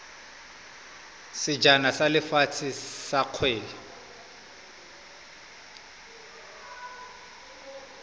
sejana sa lefatshe sa kgwele